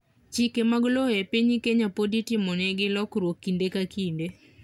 chike mag lowo e piny Kenya pod itimonegi lokruok kinde ka kinde